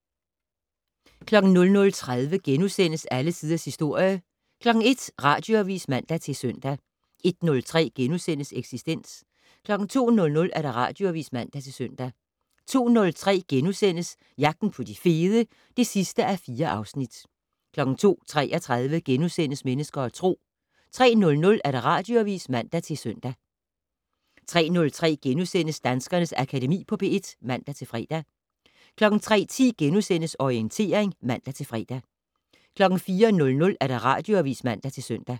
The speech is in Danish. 00:30: Alle Tiders Historie * 01:00: Radioavis (man-søn) 01:03: Eksistens * 02:00: Radioavis (man-søn) 02:03: Jagten på de fede (4:4)* 02:33: Mennesker og Tro * 03:00: Radioavis (man-søn) 03:03: Danskernes Akademi på P1 *(man-fre) 03:10: Orientering *(man-fre) 04:00: Radioavis (man-søn)